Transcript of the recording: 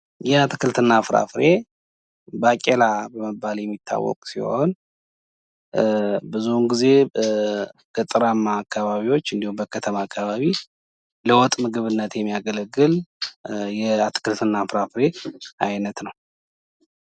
ይሄ አትክልት እና ፍራፍሬ ባቄላ በመባል የሚታወቅ ሲሆን ብዙ ጊዜ በገጠራማ አካባቢ እንዲሁም በከተማ አካባቢ ለወጥ ምግብነት የሚያገለግል የአትክልት እና ፍራፍሬ አይነት ነው።